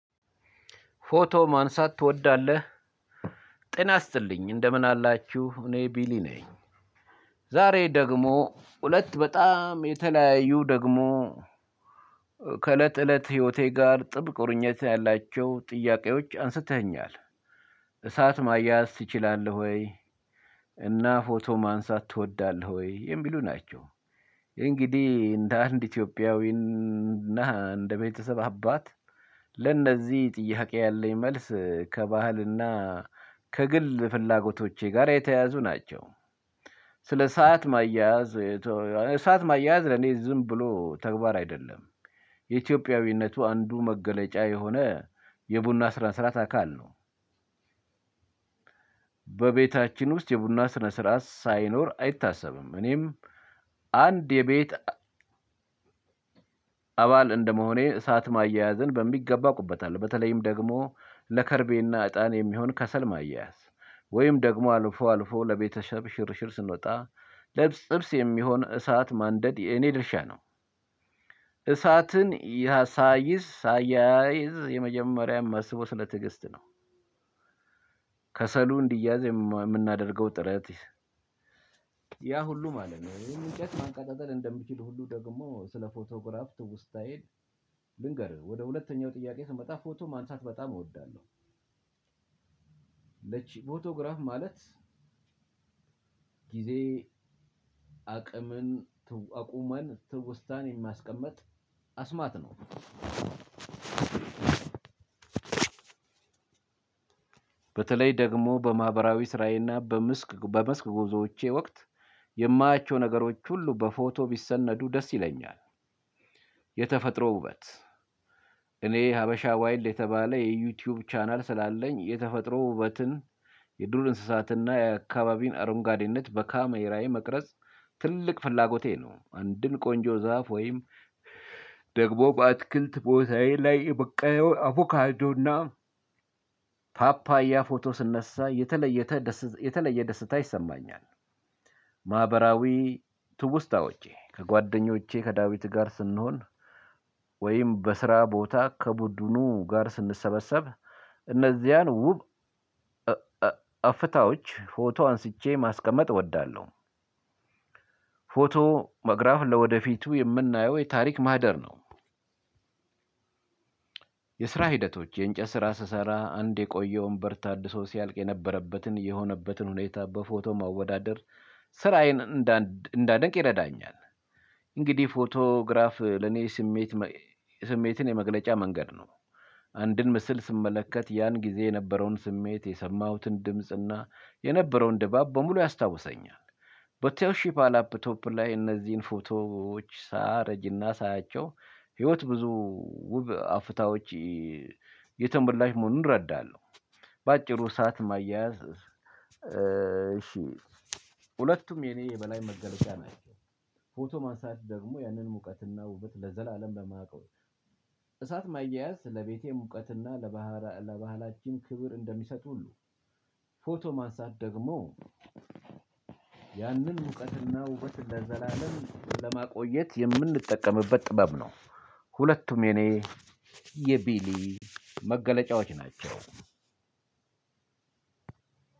ፎቶ ማንሳት ትወዳለህ ጤና ይስጥልኝ እንደምን አላችሁ እኔ ቢኒ ነኝ። ዛሬ ደግሞ ሁለት በጣም የተለያዩ ደግሞ ከእለት እለት ህይወቴ ጋር ጥብቅ ቁርኝት ያላቸው ጥያቄዎች አንስተኸኛል። እሳት ማያያዝ ትችላለህ ወይ? እና ፎቶ ማንሳት ትወዳለህ ወይ የሚሉ ናቸው? እንግዲህ እንደ አንድ ኢትዮጵያዊና እንደ ቤተሰብ አባት ለእነዚህ ጥያቄ ያለኝ መልስ ከባህልና ከግል ፍላጎቶቼ ጋር የተያያዙ ናቸው። ስለ እሳት ማያያዝ እሳት ማያያዝ ለኔ ዝም ብሎ ተግባር አይደለም። የኢትዮጵያዊነቱ አንዱ መገለጫ የሆነ የቡና ስነስርዓት አካል ነው። በቤታችን ውስጥ የቡና ስነ ስርዓት ሳይኖር አይታሰብም። እኔም አንድ የቤት አባል እንደመሆኔ እሳት ማያያዝን በሚገባ አውቅበታለሁ። በተለይም ደግሞ ለከርቤና እጣን የሚሆን ከሰል ማያያዝ ወይም ደግሞ አልፎ አልፎ ለቤተሰብ ሽርሽር ስንወጣ ለጥብስ የሚሆን እሳት ማንደድ የኔ ድርሻ ነው። እሳትን ሳያይዝ የመጀመሪያም ማስበው ስለ ትዕግስት ነው። ከሰሉ እንዲያያዝ የምናደርገው ጥረት። ያ ሁሉ ማለት ነው ይሄን እንጨት ማንቀጠጠል እንደምችል ሁሉ ደግሞ ስለ ፎቶግራፍ ትውስታዬ። ልንገርህ ወደ ሁለተኛው ጥያቄ ስመጣ ፎቶ ማንሳት በጣም እወዳለሁ። ፎቶግራፍ ማለት ጊዜ አቅምን አቁመን ትውስታን የማስቀምጥ አስማት ነው። በተለይ ደግሞ በማህበራዊ ስራዬና በመስክ በመስክ ጉዞዎቼ ወቅት የማያቸው ነገሮች ሁሉ በፎቶ ቢሰነዱ ደስ ይለኛል። የተፈጥሮ ውበት እኔ ሀበሻ ዋይልድ የተባለ የዩቲዩብ ቻናል ስላለኝ የተፈጥሮ ውበትን የድሩን እንስሳትና የአካባቢን አረንጓዴነት በካሜራዬ መቅረጽ ትልቅ ፍላጎቴ ነው። አንድን ቆንጆ ዛፍ ወይም ደግሞ በአትክልት ቦታዬ ላይ የበቀለውን አቮካዶ እና ፓፓያ ፎቶ ስነሳ የተለየተ ደስታ የተለየ ደስታ ይሰማኛል። ማህበራዊ ትውስታዎቼ ከጓደኞቼ ከዳዊት ጋር ስንሆን ወይም በስራ ቦታ ከቡድኑ ጋር ስንሰበሰብ እነዚያን ውብ አፍታዎች ፎቶ አንስቼ ማስቀመጥ እወዳለሁ። ፎቶ መግራፍ ለወደፊቱ የምናየው የታሪክ ማህደር ነው። የስራ ሂደቶች የእንጨት ስራ ስሰራ አንድ የቆየውን በር ታድሶ ሲያልቅ የነበረበትን የሆነበትን ሁኔታ በፎቶ ማወዳደር ስራዬን እንዳደንቅ ይረዳኛል። እንግዲህ ፎቶግራፍ ለኔ ስሜት ስሜትን የመግለጫ መንገድ ነው። አንድን ምስል ስመለከት ያን ጊዜ የነበረውን ስሜት የሰማሁትን ድምፅና የነበረውን ድባብ በሙሉ ያስታውሰኛል። በቶሺባ ላፕቶፕ ላይ እነዚህን ፎቶዎች ሳየረጅና ሳያቸው ህይወት ብዙ ውብ አፍታዎች የተሞላች መሆኑን እረዳለሁ። በአጭሩ እሳት ማያያዝ እሺ ሁለቱም የኔ የበላይ መገለጫ ናቸው። ፎቶ ማንሳት ደግሞ ያንን ሙቀትና ውበት ለዘላለም በማውቀው እሳት ማያያዝ ለቤቴ ሙቀትና ለባህል ለባህላችን ክብር እንደሚሰጥ ሁሉ ፎቶ ማንሳት ደግሞ ያንን ሙቀት እና ውበት እንደዘላለም ለማቆየት የምንጠቀምበት ጥበብ ነው። ሁለቱም የኔ የቢኒ መገለጫዎች ናቸው።